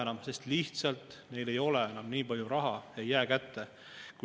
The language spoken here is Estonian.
Ja seda olukorras, kus me oleme olnud üks Euroopa juhtivaid riike inflatsiooni suuruse poolest.